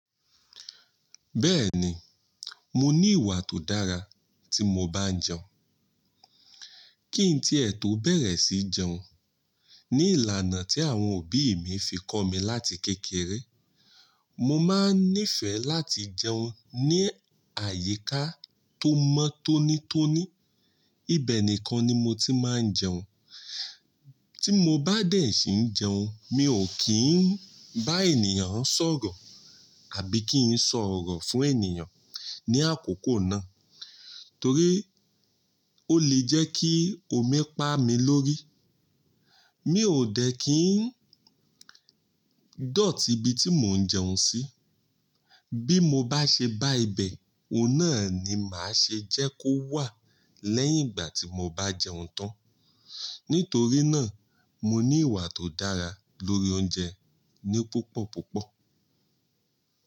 Bẹ́ẹ̀ni, mo ní ìwà tó dára tí mo bá n jẹun. Kí n tí è tò bẹ̀rẹ̀ sí jẹun, ní ìlànà tí àwọn òbí mi fi kọ́ mi láti kékeré, mo máa n nífẹ̀ẹ́ láti jẹun ní àyíká tó mọ́ tónítóní. Ibẹ̀ nìkan ni mo ti máa ń jẹun. Tí mo bá dẹ̀ sí n jẹun, mi ò kí ń bá ènìyàn sọ̀rọ̀ àbí kí ń sọ̀rọ̀ fún ènìyàn ní àkókò náà torí ó lè jẹ́ kí omi pá mi lórí. Mi ò dẹ̀ kí ń dọ̀tí ibi tí mò ń jẹun sí. Bí mo bá ṣe bá ibẹ̀, òun náà ni màá ṣe jẹ́ kó wà lẹ́yìn ìgbà tí mo bá jẹun tán. Nítorí náà, mo ní ìwà tó dára lórí oúnjẹ ní púpọ̀ púpọ̀.